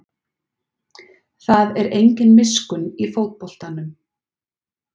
Það er engin miskunn í fótboltanum